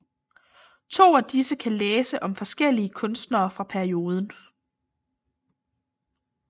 To af disse kan læse om forskellige kunstnere fra perioden